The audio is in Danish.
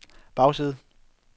bagside